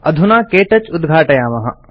अधुना के टच उद्घाटयामः